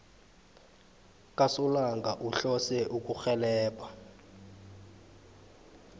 kasolanga uhlose ukurhelebha